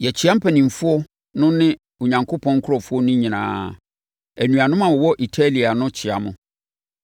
Yɛkyea mpanimfoɔ no ne Onyankopɔn nkurɔfoɔ no nyinaa. Anuanom a wɔwɔ Italia no kyea mo.